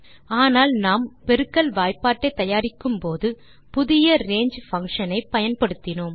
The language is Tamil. ஆனால் நாம் பெருக்கல் வாய்பாட்டை தயாரிக்கும்போது புதிய ரங்கே பங்ஷன் ஐ பயன்படுத்தினோம்